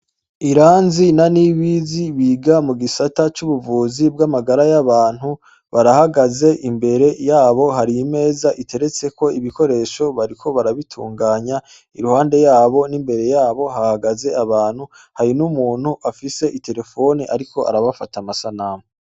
Abaganga bane, umukobwa n' abahungu batatu bambay' itaburiya yera, bafise mw' izos' akuma bakoresha mu gupim' abagway' imbere yabo har' imez' irik' ibikoresho vyinshi bitandukanye, umukobw' arunamy' arigutegura nez' ibikoresho, imbere yabo har' abantu bariko bararab' ivyo bagiye kubakorera, inyuma yabo har' ibipapuro bicafyek' ibintu bitandukanye bijanye nivy' amagara y' abantu.